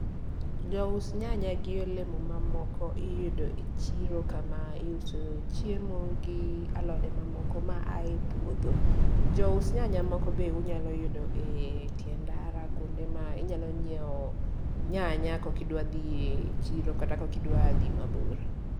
Jous nyanya gi olemo mamoko iyudo e chiro kama iuso chiemo gi alode mamoko maaye puodho. Jous nyanya moko bende unyalo yudo e tie ndara, kuonde ma inyalo nyiewo nyanya kokidwa dhi e chiro kata kokidwa dhi mabor